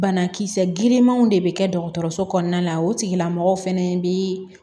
Banakisɛ girinmanw de be kɛ dɔgɔtɔrɔso kɔnɔna la o tigilamɔgɔw fɛnɛ bi